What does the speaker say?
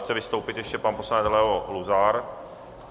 Chce vystoupit ještě pan poslanec Leo Luzar.